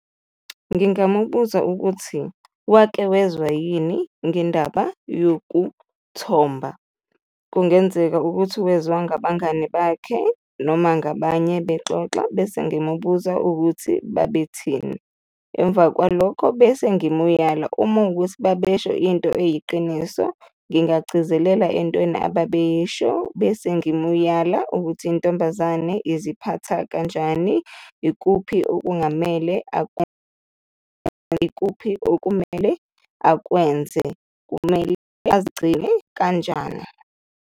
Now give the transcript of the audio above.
Ngingamubuza ukuthi wake wezwa yini ngendaba yokuthomba? Kungenzeka ukuthi wezwa ngabangani bakhe noma ngabanye bexoxa bese ngimubuza ukuthi babethini? Emva kwalokho bese ngimuyala, uma wukuthi babesho into eyiqiniso, ngingagcizelela entweni ababeyisho bese ngimuyala ukuthi intombazane iziphatha kanjani, ikuphi okungamele , ikuphi okumele akwenze, kumele azigcine kanjani.